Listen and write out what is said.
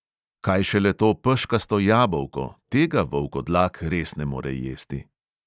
Kaj šele to peškasto jabolko, tega volkodlak res ne more jesti.